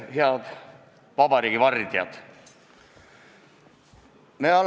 Head vabariigi vardjad!